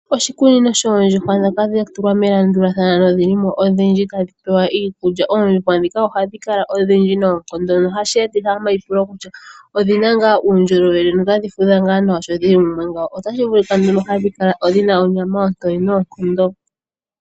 Oshikunino shoondjuhwa dhoka dhatulwa melandulathano nodhilimo odhindji tadhipewa iikulya. Oondjuhwa ndhika ohadhikala odhindji noonkondo nohasheetitha omaipulo kutya odhina ngaa uundjolowele notadhi fudha ngaa sho dhili mumwe ngawo, otashi vulika nduno hadhi kala dhina onyama oontoye noonkondo.